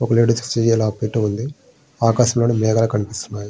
ఒక లేడీస్ కి చెయ్ అలా పెట్టి ఉంది. ఆకాశములో మేఘాలు కనిపిస్తున్నాయి.